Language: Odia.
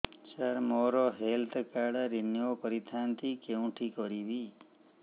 ସାର ମୋର ହେଲ୍ଥ କାର୍ଡ ରିନିଓ କରିଥାନ୍ତି କେଉଁଠି କରିବି